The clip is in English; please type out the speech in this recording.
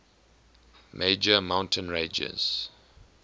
major mountain ranges